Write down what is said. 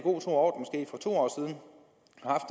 når